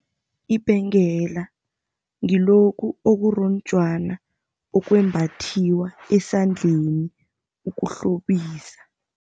Ibhengela ngilokhu okuronjwana, okwembathiwa esandleni ukuhlobisa.